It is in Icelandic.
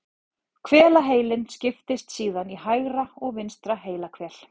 Hvelaheilinn skiptist síðan í hægra og vinstra heilahvel.